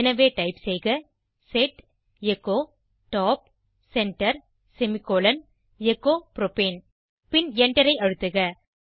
எனவே டைப் செய்க set echo top centre semicolon echo propane பின் Enter ஐ அழுத்துக